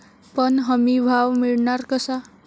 पण हमीभाव मिळणार कसा?